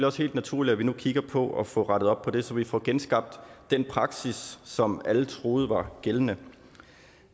også helt naturligt at vi nu kigger på at få rettet op på det så vi kan få genskabt den praksis som alle troede var gældende